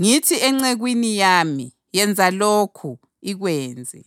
Ngithi encekwini yami, ‘Yenza lokhu,’ ikwenze.”